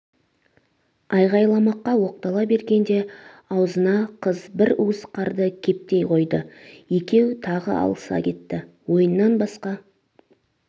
айғайламаққа оқтала бергенде аузына қыз бір уыс қарды кептей қойды екеу тағы алыса кетті ойыннан басқа